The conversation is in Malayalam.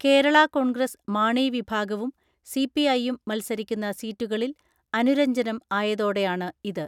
കേരളാകോൺഗ്രസ് മാണി വിഭാഗവും സിപിഐയും മത്സരിക്കുന്ന സീറ്റുകളിൽ അനുരജ്ഞനം ആയതോടെയാണ് ഇത്.